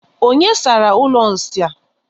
Onye sara ụlọ nsị a?